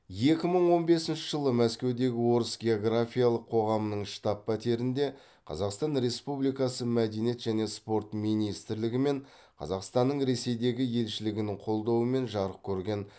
екі мың он бесінші жылы мәскеудегі орыс географиялық қоғамының штаб пәтерінде қазақстан республикасы мәдениет және спорт министрлігімен қазақстанның ресейдегі елшілігінің қолдауымен жарық көрген